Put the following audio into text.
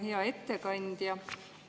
Hea ettekandja!